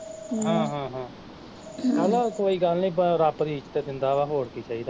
ਹਮ ਹਾਂ ਹਾਂ, ਚੱਲ ਕੋਈ ਗੱਲ ਨੀ ਰੱਬ ਵੀ ਇੱਜ਼ਤ ਦਿੰਦਾ ਵਾਂ ਹੋਰ ਕੀ ਚਾਹੀਦਾ ਸਾਨੂੰ